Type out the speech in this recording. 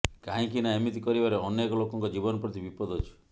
କାହିଁକି ନାଁ ଏମିତି କରିବାରେ ଅନେକ ଲୋକଙ୍କ ଜୀବନ ପ୍ରତି ବିପଦ ଅଛି